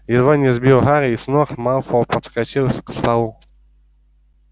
едва не сбив гарри с ног малфой подскочил к столу